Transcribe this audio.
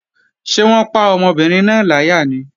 Ṣé wọ́n pa ọmọbìnrin náà láyà ni?